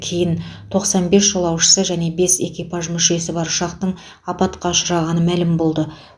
кейін тоқсан бес жолаушысы және бес экипаж мүшесі бар ұшақтың апатқа ұшырағаны мәлім болды